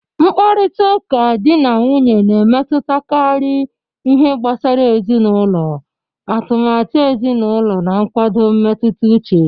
Mkparịta ụka di na nwunye na-emetụtakarị ihe gbasara ezinụlọ, atụmatụ ezinụlọ, na nkwado mmetụta uche